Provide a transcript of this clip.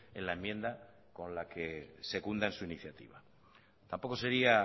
en la enmienda con la que secundan su iniciativa tampoco sería